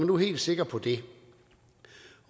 var helt sikker på det